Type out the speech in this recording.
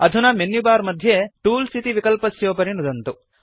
अधुना मेन्युबार मध्ये टूल्स् इति विकल्पस्योपरि नुदन्तु